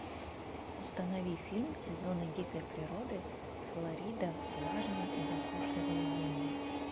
установи фильм сезоны дикой природы флорида влажные и засушливые земли